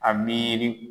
A miiri